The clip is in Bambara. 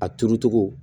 A turu cogo